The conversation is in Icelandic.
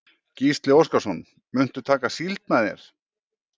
Gísli Óskarsson: Muntu taka síld með þér?